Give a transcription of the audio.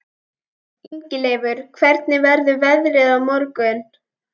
Ingileifur, hvernig verður veðrið á morgun?